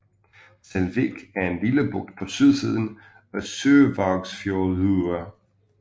Selvík er en lille bugt på sydsiden af Sørvágsfjørður